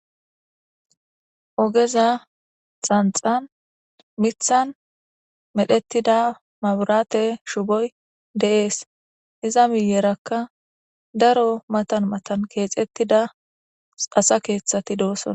ogeza xanxan mithan medhettida maburaate shugoy deees iza miyerakka daro matan matan keexettida asa keeththati doosona